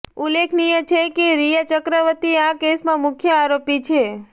ઉલ્લેખનીય છે કે રિયા ચક્રવર્તી આ કેસમાં મુખ્ય આરોપી છે